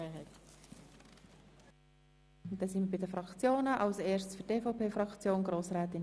Für die EVP-Fraktion hat Grossrätin Streit das Wort.